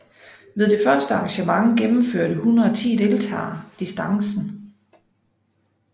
Ved det første arrangement gennemførte 110 deltagere distancen